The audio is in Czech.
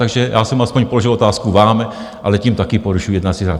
Takže já jsem aspoň položil otázku vám, ale tím také porušuji jednací řád.